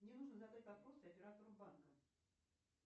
мне нужно задать вопрос оператору банка